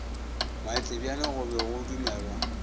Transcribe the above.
matlebjane go be go dumelwa